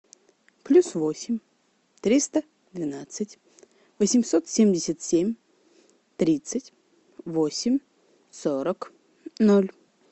плюс восемь триста двенадцать восемьсот семьдесят семь тридцать восемь сорок ноль